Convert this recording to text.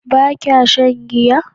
ba kya shan giya?